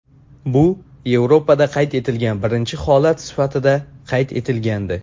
Bu Yevropada qayd etilgan birinchi holat sifatida qayd etilgandi.